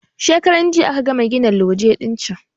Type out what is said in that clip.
Shekaran jiya aka gama gina loje din can